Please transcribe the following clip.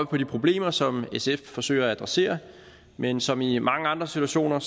på de problemer som sf forsøger at adressere men som i mange andre situationer